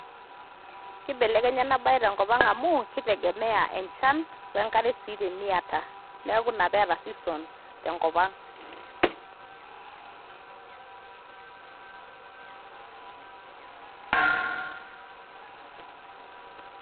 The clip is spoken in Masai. Keibelekenya ena bae tenkop ang' amu keitegemea enchan wenkare sii teniata neeku Ina peeta seasons tenkop ang'.